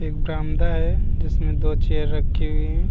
एक बरामदा है जिसमें दो चेयर रखी हुई है |